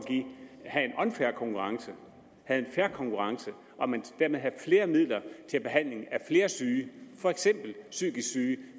have en unfair konkurrence havde en fair konkurrence og dermed havde flere midler til behandling af flere syge for eksempel psykisk syge